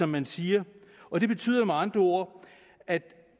man siger og det betyder med andre ord at